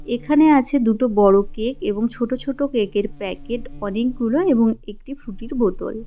এখানে আছে দুটো বড় কেক আর ছোট ছোট কেকের প্যাকেট অনেকগুলো এবং একটি ফ্রুটির বোতল।